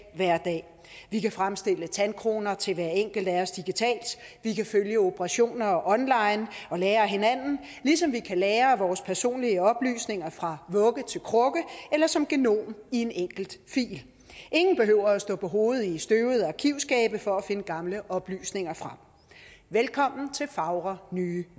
hverdag vi kan fremstille tandkroner til hver enkelt af os digitalt vi kan følge operationer online og lære af hinanden ligesom vi kan lagre vores personlige oplysninger fra vugge til krukke eller som genom i en enkelt fil ingen behøver at stå på hovedet i støvede arkivskabe for at finde gamle oplysninger frem velkommen til fagre nye